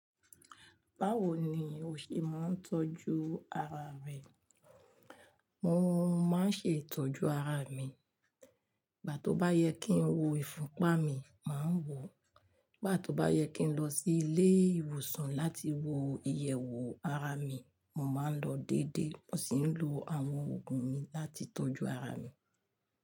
Báwo ni o ṣe máa ń tọ́jú ara rẹ? Mò máa ń ṣe ìtọ́jú ara mi. Gbá tó bá yẹ kí ń wo ìfúnpa mi, màá wọ̀. Nigbá tó bá yẹ kí ń lọ sí ilé ìwòsàn láti wo ìyẹ̀wò ara mi, mo máa ń lọ dédé. Ọ́ sì ń lo àwọn òògùn mi láti tọ́jú ara mi.